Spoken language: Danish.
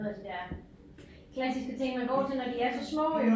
Noget af det der klassiske ting man går til når de er så små jo